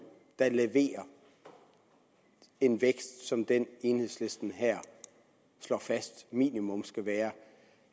der ikke leverer en vækst som den enhedslisten her slår fast minimum skal være